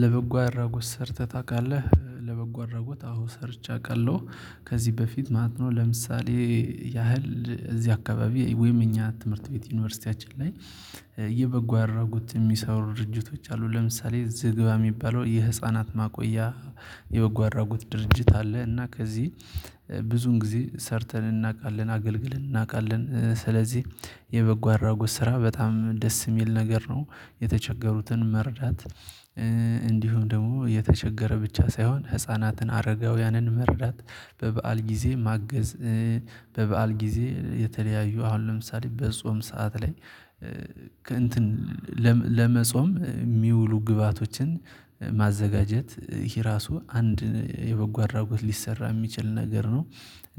ለበጎ አድራጎት ሰርተህ ታውቃለህ? ለበጎ አድራጎት አወ ሰርቼ አውቃለሁ። ከዚህ በፊት ማለት ነው። ለምሳሌ ያህል እዚህ አካባቢ ወይም እኛ ትምህርት ቤት ዩኒቨርሲቲያችን ላይ የበጎ አድራጎት የሚሰሩ ድርጅቶች አሉ። ለምሳሌ ዝግባ የሚባለው የህፃናት ማቆያ። የበጎ አድራጎት ድርጅት አለ። እና ከዚህ ብዙን ጊዜ ሰርተን እናውቃለን አገልግልን እናውቃለን። ስለዚህ የበጎ አድራጎት ስራ በጣም ደስ የሚል ነገር ነው። የተቸገሩትን መርዳት። እንዲሁም ደግሞ የተቸገረ ብቻ ሳይሆን ህፃናትን አረጋውያንን መርዳት በበዓል ጊዜ ማገዝ። በበዓል ጊዜ የተለያዩ አሁን ለምሳሌ በጾም ሰዓት ላይ። ከእንትን ለመጾም የሚውሉ ግብአቶችን ማዘጋጀት ይሄ ራሱ አንድ የበጎ አድራጎት ሊሰራ የሚችል ነገር ነው።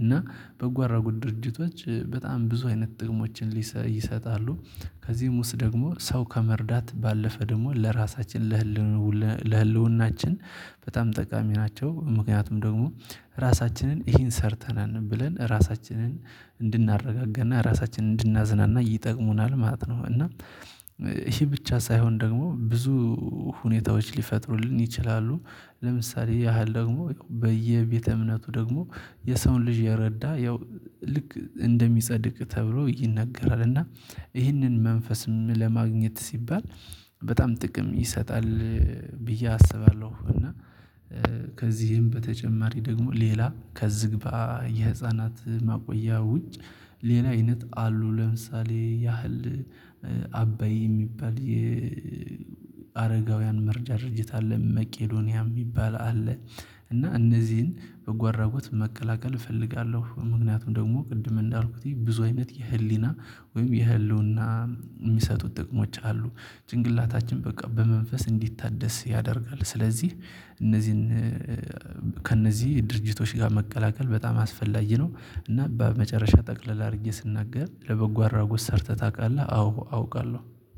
እና በጎ አራጎት ድርጅቶች በጣም ብዙ አይነት ጥቅሞችን ይሰጣሉ። ከዚህም ውስጥ ደግሞ ሰው ከመርዳት ባለፈ ደግሞ ለራሳችን ለህልውናችን በጣም ጠቃሚ ናቸው። ምክንያቱም ደግሞ ራሳችንን ይሄን ሰርተናል ብለን ራሳችንን እንድናረጋጋና ራሳችንን እንድናዝናና ይጠቅሙናል ማለት ነው። እና ይሄ ብቻ ሳይሆን ደግሞ ብዙ ሁኔታዎች ሊፈጥሩልን ይችላሉ። ለምሳሌ ያህል ደግሞ በየቤተ እምነቱ ደግሞ የሰውን ልጅ የረዳ ያው ልክ እንደሚጸድቅ ተብሎ ይነገራል። እና ይህንን መንፈስም ለማግኘት ሲባል በጣም ጥቅም ይሰጣል። ብዬ አስባለሁ። እና ከዚህም በተጨማሪ ደግሞ ሌላ ከዝግባ የህፃናት ማቆያ ውጭ ሌላ አይነት አሉ። ለምሳሌ ያህል አበይ የሚባል የ የአረጋውያን መርጃ ድርጅት አለ። መቄዶንያ የሚባል አለ። እና እነዚህን በጎ አድራጎት መቀላቀል እፈልጋለሁ። ምክንያቱም ደግሞ ቅድም እንዳልኩት ብዙ አይነት የህሊና ወይም የህልውና የሚሰጡት ጥቅሞች አሉ። ጭንቅላታችን በቃ በመንፈስ እንዲታደስ ያደርጋል። ስለዚህ እነዚህን ከእነዚህ ድርጅቶች ጋር መቀላቀል በጣም አስፈላጊ ነው። እና በመጨረሻ ጠቅልል አድርጌ ስናገር ለበጎ አድራጎት ሰርተህ ታውቃለህ? አዎ አውቃለሁ